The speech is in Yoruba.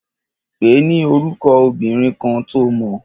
Pèé ni orúkọ obìnrin kan to mọ̀.